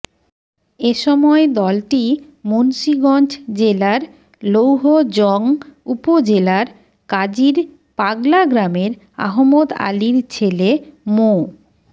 এ সময় দলটি মুন্সীগঞ্জ জেলার লৌহজং উপজেলার কাজীর পাগলা গ্রামের আহমদ আলীর ছেলে মো